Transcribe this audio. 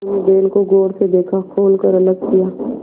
उन्होंने बैल को गौर से देखा खोल कर अलग किया